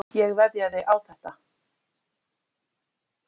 Ég veðjaði á þetta.